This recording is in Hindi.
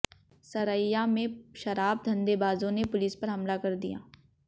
सरैया में शराब धंधेबाजों ने पुलिस पर हमला कर दिया